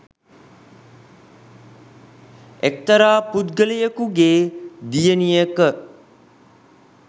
එක්තරා පුද්ගලයකුගේ දියණියක